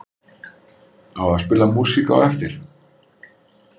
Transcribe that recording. Á að spila músík á eftir?